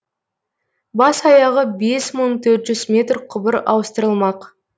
бас аяғы бес мың төр жүз метр құбыр ауыстырылмақ